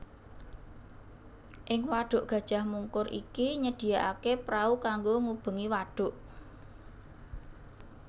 Ing wadhuk Gajah Mungkur iki nyediakaké prau kanggo ngubengi wadhuk